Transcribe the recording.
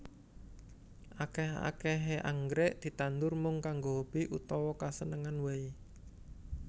Akèh akèhé anggrèk ditandur mung kanggo hobi utawa kasenengan waé